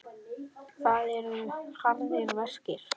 Það eru harðir verkir.